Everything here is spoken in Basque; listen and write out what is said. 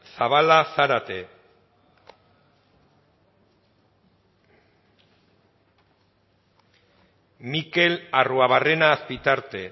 zabala zarate mikel arruabarrena azpitarte